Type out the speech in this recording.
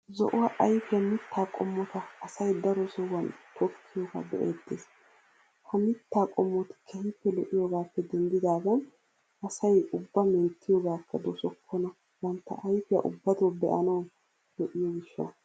Zo"uwa ayffiya mitta qomota asay daro sohuwan tokkiyooga be'ettees. He mittaa qommoti keehippe lo'iyoogappe denniddidaagan asay ubba menttiyoogakka doosokkoona bantta ayffiya ubbatto be'anawu lo'iyoo gishshawu.